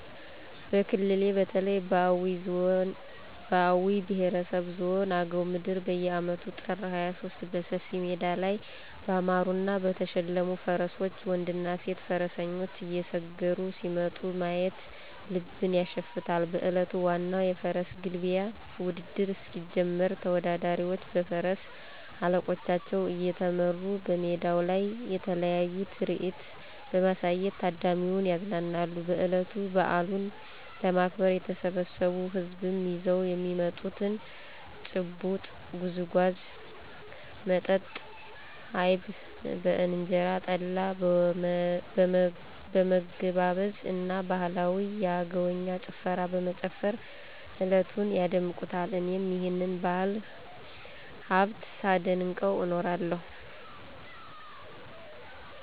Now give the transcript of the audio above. በክልሌ በተለይ በአዊ ብሄረሰብ ዞን አገው ምድር በየአመቱ ጥር 23 በሰፊ ሜዳ ላይ ባማሩና በተሸለሙ ፈረሶች ወንድና ሴት ፈረሰኞች እየሰገሩ ሲመጡ ማየት ልብን ያሸፍታል። በእለቱ ዋናው የፈረስ ግልቢያ ውድድር እስኪጀምር ተወዳዳሪዎቹ በፈረስ አለቆቻቸው እየተመሩ በሜዳው ላይ የተለያየ ትርኢት በማሳየት ታዳሚውን ያዝናናሉ። በእለቱ በአሉን ለማክበር የተሰበሰው ህዝብም ይዘው የሚመጡትን :- ጭብጦ፣ ጉዝጉዞ፣ መጣጣ አይብ በእንጀራ፣ ጠላ በመገባበዝ እና ባህላዊ የአገውኛ ጭፈራ በመጨፈር እለቱን ያደምቁታል። እኔም ይህንን የባህል ሀብት ሳደንቀው እኖራለሁ።